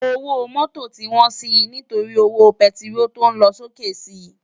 Ówó mòtó ti wòn si nitóri ówó pètiról tó lòsóké si